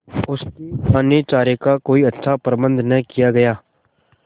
उसके दानेचारे का कोई अच्छा प्रबंध न किया गया